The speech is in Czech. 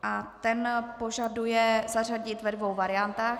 A ten požaduje zařadit ve dvou variantách.